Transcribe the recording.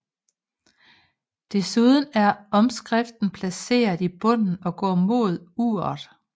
Desuden er omskriften placeret i bunden og går mod uret